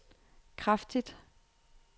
kraftigt